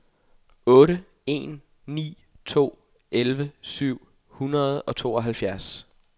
otte en ni to elleve syv hundrede og tooghalvtreds